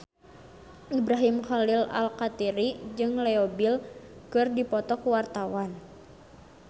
Ibrahim Khalil Alkatiri jeung Leo Bill keur dipoto ku wartawan